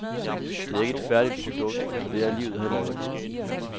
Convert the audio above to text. Det er ikke et færdigt produkt, for det er livet heller ikke.